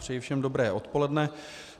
Přeji všem dobré odpoledne.